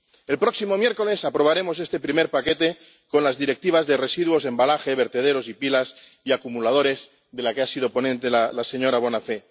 El próximo miércoles aprobaremos este primer paquete con las Directivas sobre residuos, envases, vertederos y pilas y acumuladores del que ha sido ponente la señora Bonafè.